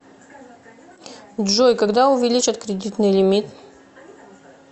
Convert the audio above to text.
джой когда увеличат кредитный лимит